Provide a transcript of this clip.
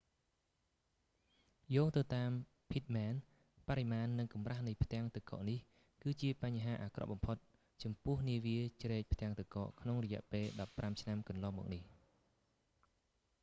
យោងទៅតាម pittman បរិមាណនិងកម្រាស់នៃផ្ទាំងទឹកកកនេះ គឺជាបញ្ហាអាក្រក់បំផុតចំពោះនាវាជ្រែកផ្ទាំងកក ក្នុងរយៈពេល 15 ឆ្នាំកន្លងមកនេះ